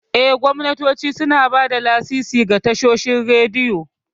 Eh, gwamnatoci suna ba da lasisi ga tashoshin rediyo.